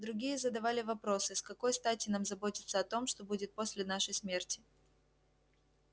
другие задавали вопросы с какой стати нам заботиться о том что будет после нашей смерти